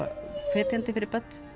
hvetjandi fyrir börn